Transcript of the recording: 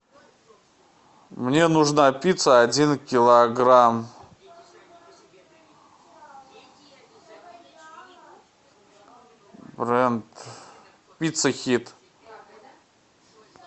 мне нужна пицца один килограмм бренд пицца хит